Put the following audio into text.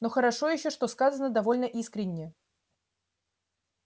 но хорошо ещё что сказано довольно искренне